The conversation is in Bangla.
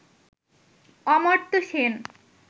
অমর্ত্য সেন